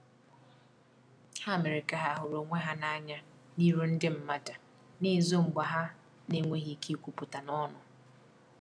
Ha mere ka ha huru onwe ha na anya n'iru ndi madu na ezo mgba ha n enweghi ike ikwuputa n'onu